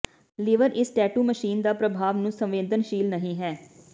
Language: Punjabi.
ਲੀਵਰ ਇਸ ਟੈਟੂ ਮਸ਼ੀਨ ਦਾ ਪ੍ਰਭਾਵ ਨੂੰ ਸੰਵੇਦਨਸ਼ੀਲ ਨਹੀ ਹੈ